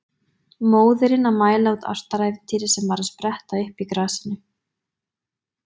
Móðirin að mæla út ástarævintýrið sem var að spretta upp í grasinu.